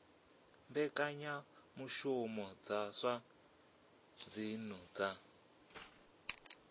mbekanyamushumo dza zwa dzinnu dza